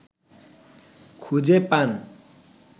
খুঁজে পান